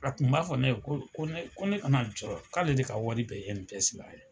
A tun b'a fɔ ne ye ko ko ko ne kana jɔrɔ k'ale de ka wari bɛɛ ye INPS la yen.